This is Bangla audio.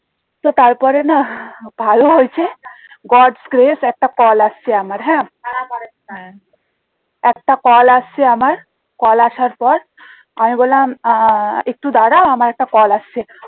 তো তারপরে না ভালো হয়েছে gods grace একটা কল আসছে আমার হ্যাঁ একটা কল আসছে আমার কল আসার পর আমি বললাম আহ একটু দাঁড়া আমার একটা কল আসছে